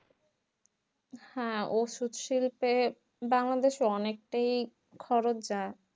হ্যাঁ ওষুধ শিল্পে বাংলাদেশে অনেকটাই খরচ যাই